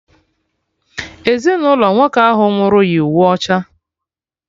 Ezinụlọ nwoke ahụ nwụrụ yi uwe ọcha